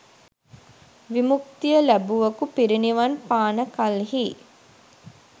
විමුක්තිය ලැබුවකු පිරිනිවන් පාන කල්හි